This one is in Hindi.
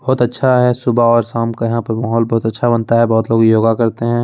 बहुत अच्छा है सुबह और शाम का यहाँ पर माहौल बहुत अच्छा बनता है बहुत लोग योगा करते हैं।